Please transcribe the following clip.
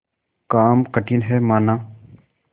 काम कठिन हैमाना